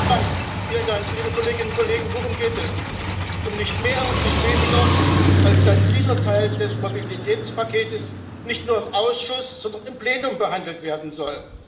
Frau Präsidentin, liebe Kolleginnen und Kollegen! Worum geht es? Um nicht mehr und nicht weniger, als dass dieser Teil des Mobilitätspakets nicht nur im Ausschuss, sondern im Plenum behandelt werden soll.